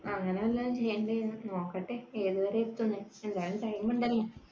അങ്ങനെ വല്ലതും ചെയ്യേണ്ടേ നോക്കട്ടെ ഏത് വരെ എത്തുംന്നു, എന്തായാലും time ഉണ്ടല്ലോ